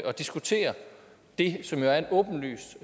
diskutere det som jo er en åbenlys